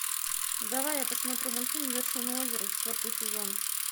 давай я посмотрю мультфильм вершина озера четвертый сезон